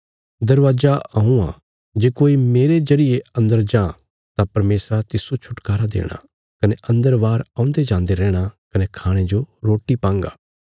दरवाजा हऊँ आ जे कोई मेरे जरिये अन्दर जां तां परमेशरा तिस्सो छुटकारा देणा कने अन्दर बाहर औन्दे जान्दे रैहणा कने खाणे जो रोटी पांगा